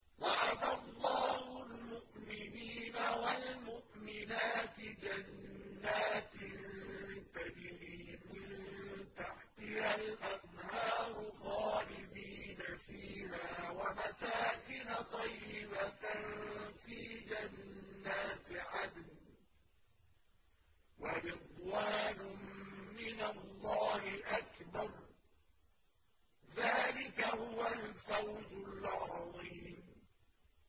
وَعَدَ اللَّهُ الْمُؤْمِنِينَ وَالْمُؤْمِنَاتِ جَنَّاتٍ تَجْرِي مِن تَحْتِهَا الْأَنْهَارُ خَالِدِينَ فِيهَا وَمَسَاكِنَ طَيِّبَةً فِي جَنَّاتِ عَدْنٍ ۚ وَرِضْوَانٌ مِّنَ اللَّهِ أَكْبَرُ ۚ ذَٰلِكَ هُوَ الْفَوْزُ الْعَظِيمُ